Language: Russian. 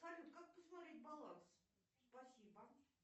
салют как посмотреть баланс спасибо